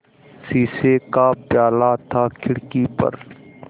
शीशे का प्याला था खिड़की पर